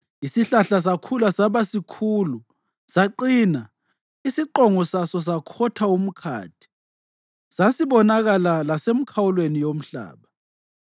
Isihlahla sakhula saba sikhulu saqina, isiqongo saso sakhotha umkhathi; sasibonakala lasemikhawulweni yomhlaba.